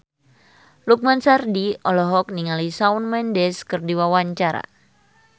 Lukman Sardi olohok ningali Shawn Mendes keur diwawancara